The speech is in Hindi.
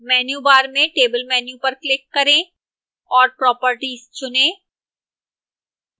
menu bar में table menu पर click करें और properties चुनें